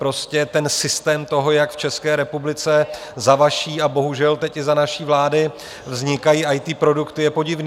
Prostě ten systém toho, jak v České republice za vaší - a bohužel teď i za naší vlády - vznikají IT produkty, je podivný.